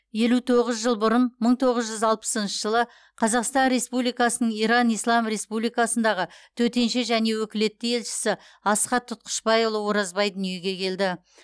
елу тоғыз жыл бұрын мың тоғыз жүз алпысыншы жылы қазақстан республикасының иран ислам республикасындағы төтенше және өкілетті елшісі асхат тұтқышбайұлы оразбай дүниеге келді